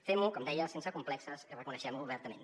fem·ho com deia sense complexos i reconeguem·ho obertament